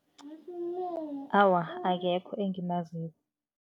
Awa, akekho engimaziko.